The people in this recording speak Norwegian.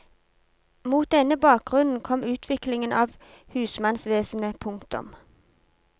Mot denne bakgrunnen kom utviklingen av husmannsvesenet. punktum